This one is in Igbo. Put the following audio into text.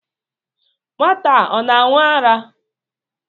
Nwata ọ na-aṅụ ara?